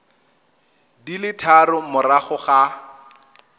di le tharo morago ga